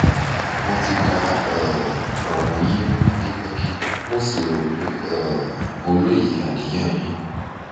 mo ti ka um ọ̀ràn yín ní pẹkipẹki mo sì rò pé um mo loye aniyan yín